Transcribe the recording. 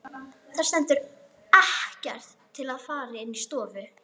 Það stendur ekkert til að það fari inn í stofu.